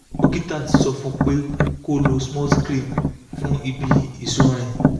dókítà ti sọ fún un pé kó lo smuth cream fún ibi ìsunrin